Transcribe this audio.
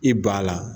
I b'a la